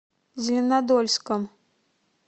зеленодольском